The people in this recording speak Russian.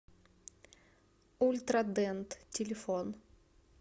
ультра дент телефон